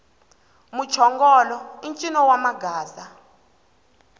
muchongolo i ncino wa magaza